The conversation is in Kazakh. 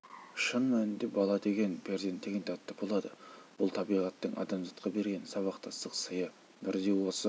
шын мәнінде бала деген перзент деген тәтті болады бұл табиғаттың адамзатқа берген сабақтастық сыйы бірде осы